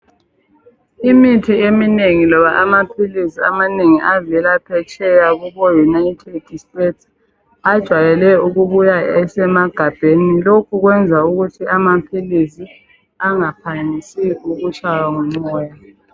Imithi eminengi loba amaphilisi amanengi avela phetsheya kubo united states ajwayele ukubuya esemagabheni lokhu kwenza ukuthi amaphilisi angaphangisi ukutshaywa ngumoya